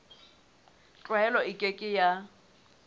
tlwaelo e ke ke ya